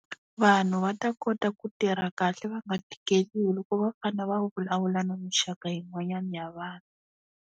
Vanhu va ta kota ku tirha kahle va nga tikeriwi loko va fanele va vulavula na mixaka yin'wanyana ya vanhu.